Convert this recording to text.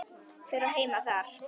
Hver á heima þarna?